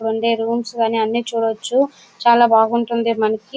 అక్కడ ఉండే రూమ్స్ గానీ అన్ని చూడొచ్చు. చాలా బాగుంటుంది మనకి.